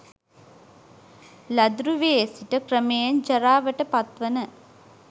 ළදරු වියේ සිට ක්‍රමයෙන් ජරාවට පත්වන